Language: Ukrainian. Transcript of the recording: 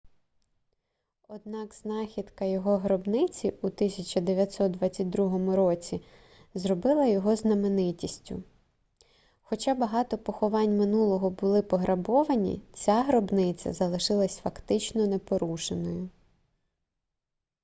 однак знахідка його гробниці у 1922 році зробила його знаменитістю хоча багато поховань минулого були пограбовані ця гробниця залишилась фактично непорушеною